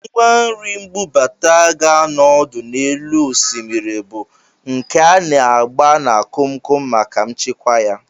Ngwanri mbubata ga-anọ ọdụ n'elu osimiri, bụ nke a na-agba na komkom maka nchekwa ya